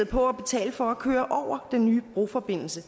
på at betale for at køre over den nye broforbindelse